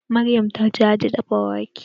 Maryam ta ce za ta dafa wake